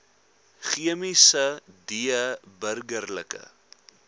chemiese d burgerlike